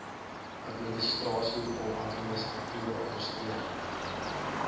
administrasieom administratiewe ondersteuning